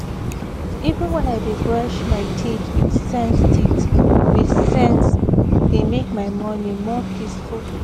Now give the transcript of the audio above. even when i dey brush my teeth with sense teeth with sense e dey make my morning more peaceful